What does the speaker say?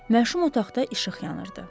Məşum otaqda işıq yanırdı.